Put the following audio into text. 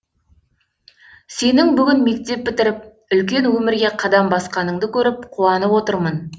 сенің бүгін мектеп бітіріп үлкен өмірге қадам басқаныңды көріп қуанып отырмын